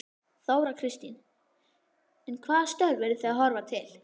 Þóra Kristín: En hvaða störf eru þið að horfa til?